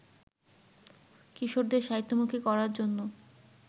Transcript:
কিশোরদের সাহিত্যমুখী করার জন্য